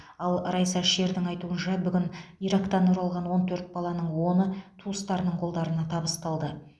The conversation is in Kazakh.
ал райса шердің айтуынша бүгін ирактан оралған он төрт баланың оны туыстарының қолдарына табысталды